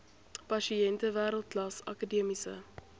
pasiënte wêreldklas akademiese